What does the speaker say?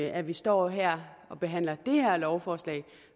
at vi står her og behandler det her lovforslag